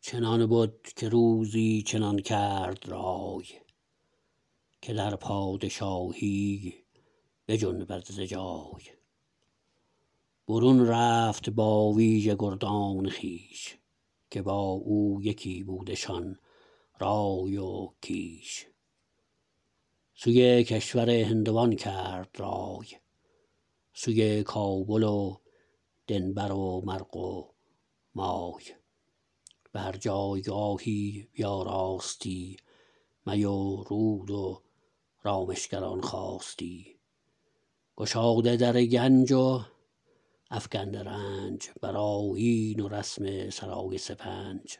چنان بد که روزی چنان کرد رای که در پادشاهی بجنبد ز جای برون رفت با ویژه گردان خویش که با او یکی بودشان رای و کیش سوی کشور هندوان کرد رای سوی کابل و دنبر و مرغ و مای به هر جایگاهی بیاراستی می و رود و رامشگران خواستی گشاده در گنج و افگنده رنج بر آیین و رسم سرای سپنج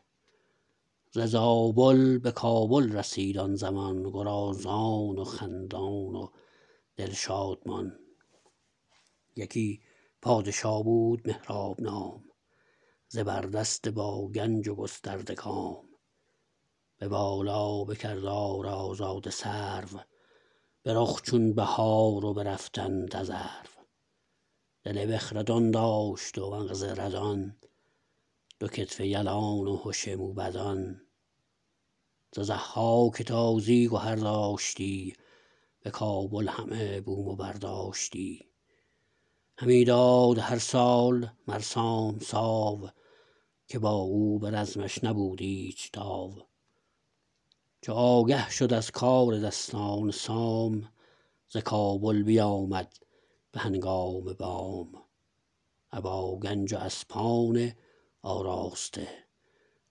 ز زابل به کابل رسید آن زمان گرازان و خندان و دل شادمان یکی پادشا بود مهراب نام زبر دست با گنج و گسترده کام به بالا به کردار آزاده سرو به رخ چون بهار و به رفتن تذرو دل بخردان داشت و مغز ردان دو کتف یلان و هش موبدان ز ضحاک تازی گهر داشتی به کابل همه بوم و برداشتی همی داد هر سال مر سام ساو که با او به رزمش نبود ایچ تاو چو آگه شد از کار دستان سام ز کابل بیامد به هنگام بام ابا گنج و اسپان آراسته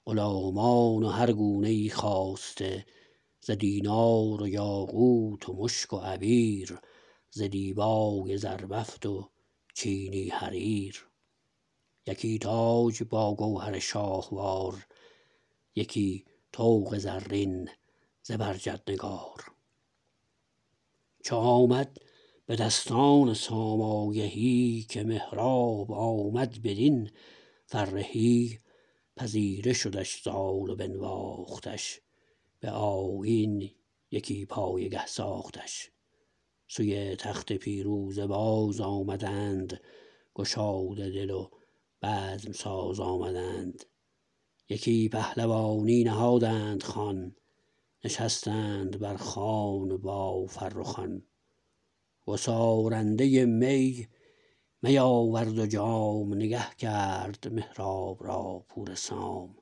غلامان و هر گونه ای خواسته ز دینار و یاقوت و مشک و عبیر ز دیبای زربفت و چینی حریر یکی تاج با گوهر شاهوار یکی طوق زرین زبرجد نگار چو آمد به دستان سام آگهی که مهراب آمد بدین فرهی پذیره شدش زال و بنواختش به آیین یکی پایگه ساختش سوی تخت پیروزه باز آمدند گشاده دل و بزم ساز آمدند یکی پهلوانی نهادند خوان نشستند بر خوان با فرخان گسارنده می می آورد و جام نگه کرد مهراب را پور سام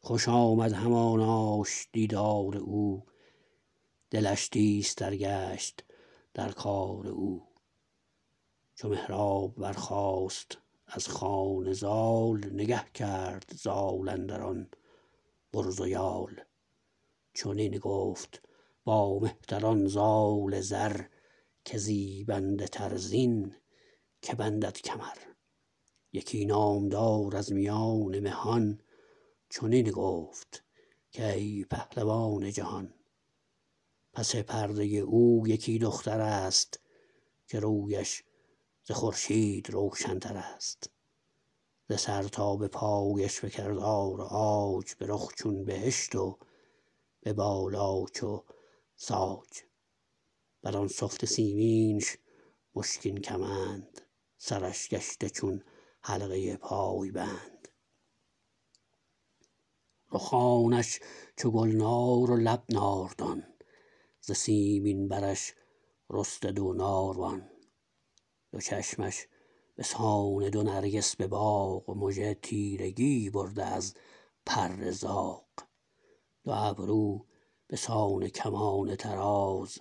خوش آمد هماناش دیدار او دلش تیز تر گشت در کار او چو مهراب برخاست از خوان زال نگه کرد زال اندر آن برز و یال چنین گفت با مهتران زال زر که زیبنده تر زین که بندد کمر یکی نامدار از میان مهان چنین گفت کای پهلوان جهان پس پرده او یکی دخترست که رویش ز خورشید روشن ترست ز سر تا به پایش به کردار عاج به رخ چون بهشت و به بالا چو ساج بر آن سفت سیمنش مشکین کمند سرش گشته چون حلقه پای بند رخانش چو گلنار و لب ناردان ز سیمین برش رسته دو ناروان دو چشمش به سان دو نرگس به باغ مژه تیرگی برده از پر زاغ دو ابرو به سان کمان طراز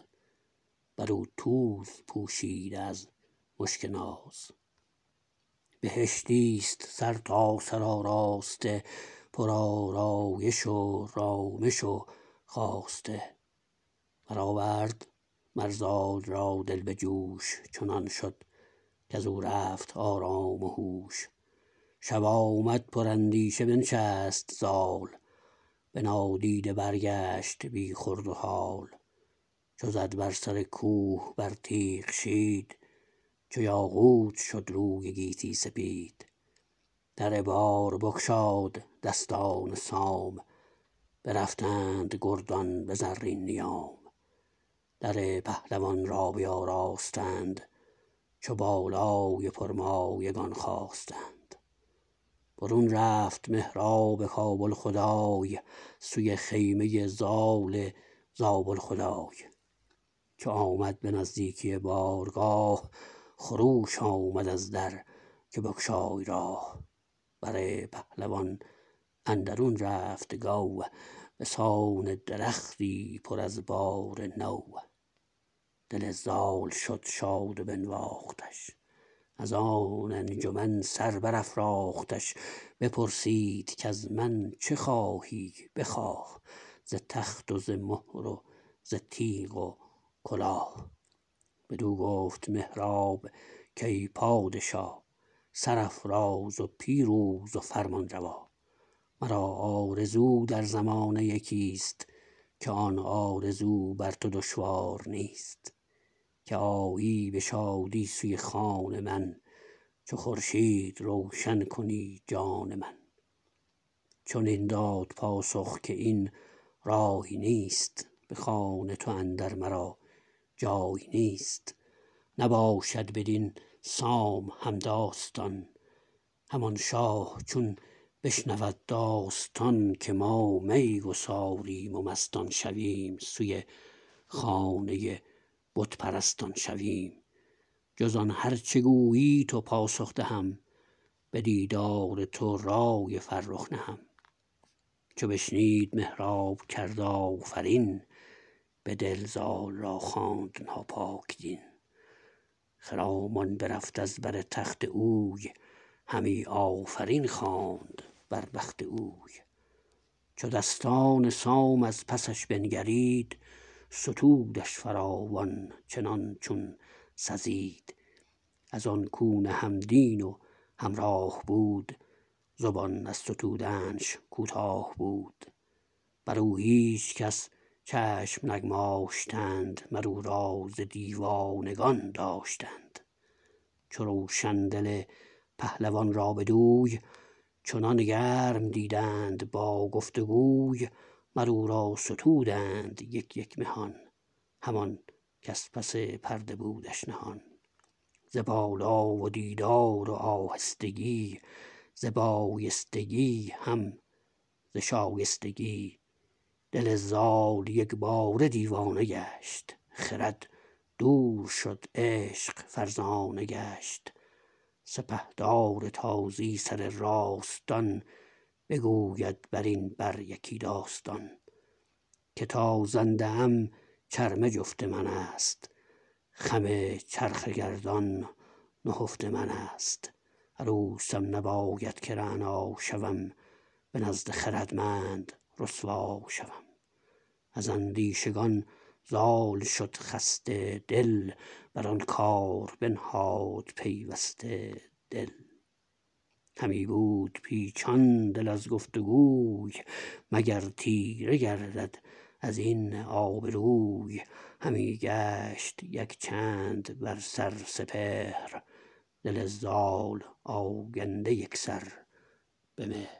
بر او توز پوشیده از مشک ناز بهشتیست سرتاسر آراسته پر آرایش و رامش و خواسته برآورد مر زال را دل به جوش چنان شد کزو رفت آرام وهوش شب آمد پر اندیشه بنشست زال به نادیده برگشت بی خورد و هال چو زد بر سر کوه بر تیغ شید چو یاقوت شد روی گیتی سپید در بار بگشاد دستان سام برفتند گردان به زرین نیام در پهلوان را بیاراستند چو بالای پرمایگان خواستند برون رفت مهراب کابل خدای سوی خیمه زال زابل خدای چو آمد به نزدیکی بارگاه خروش آمد از در که بگشای راه بر پهلوان اندرون رفت گو به سان درختی پر از بار نو دل زال شد شاد و بنواختش از آن انجمن سر برافراختش بپرسید کز من چه خواهی بخواه ز تخت و ز مهر و ز تیغ و کلاه بدو گفت مهراب کای پادشا سرافراز و پیروز و فرمان روا مرا آرزو در زمانه یکیست که آن آرزو بر تو دشوار نیست که آیی به شادی سوی خان من چو خورشید روشن کنی جان من چنین داد پاسخ که این رای نیست به خان تو اندر مرا جای نیست نباشد بدین سام همداستان همان شاه چون بشنود داستان که ما می گساریم و مستان شویم سوی خانه بت پرستان شویم جز آن هر چه گویی تو پاسخ دهم به دیدار تو رای فرخ نهم چو بشنید مهراب کرد آفرین به دل زال را خواند ناپاک دین خرامان برفت از بر تخت اوی همی آفرین خواند بر بخت اوی چو دستان سام از پسش بنگرید ستودش فراوان چنان چون سزید از آن کو نه هم دین و هم راه بود زبان از ستودنش کوتاه بود بر او هیچکس چشم نگماشتند مر او را ز دیوانگان داشتند چو روشن دل پهلوان را بدوی چنان گرم دیدند با گفت وگوی مر او را ستودند یک یک مهان همان کز پس پرده بودش نهان ز بالا و دیدار و آهستگی ز بایستگی هم ز شایستگی دل زال یکباره دیوانه گشت خرد دور شد عشق فرزانه گشت سپهدار تازی سر راستان بگوید بر این بر یکی داستان که تا زنده ام چرمه جفت منست خم چرخ گردان نهفت منست عروسم نباید که رعنا شوم به نزد خردمند رسوا شوم از اندیشگان زال شد خسته دل بر آن کار بنهاد پیوسته دل همی بود پیچان دل از گفت وگوی مگر تیره گردد از این آبروی همی گشت یک چند بر سر سپهر دل زال آگنده یکسر به مهر